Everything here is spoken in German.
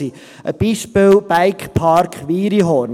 Zum Beispiel der Bikepark Wiriehorn: